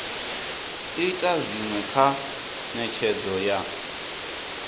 ita zwinwe kha netshedzo ya